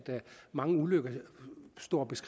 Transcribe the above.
mange ulykker